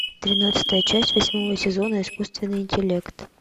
тринадцатая часть восьмого сезона искусственный интеллект